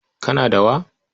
Kana da wa?